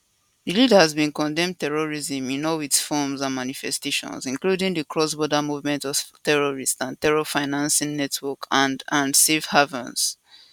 di leaders bin condemn terrorism in all its forms and manifestations including di crossborder movement of terrorists and terror financing networks and and safe havens